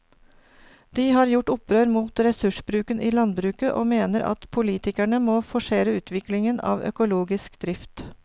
De har gjort opprør mot ressursbruken i landbruket og mener at politikerne må forsere utviklingen av økologisk drift.